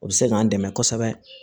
O bɛ se k'an dɛmɛ kosɛbɛ